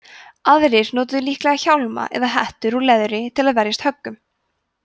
aðrir notuðu líklega hjálma eða hettur úr leðri til að verjast höggum